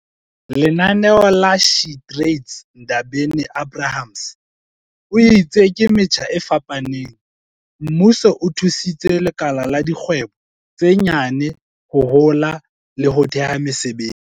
Lenaneo la SheTrades Ndabeni-Abrahams o itse ka metjha e fapaneng, mmuso o thusitse lekala la dikgwebo tse nyane ho hola le ho theha mesebetsi."